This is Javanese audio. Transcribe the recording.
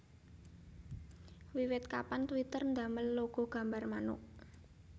Wiwit kapan Twitter ndamel logo gambar manuk